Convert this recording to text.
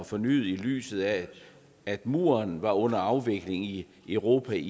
fornyet i lyset af at muren var under afvikling i europa i